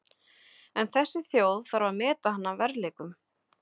En þessi þjóð þarf að meta hann að verðleikum.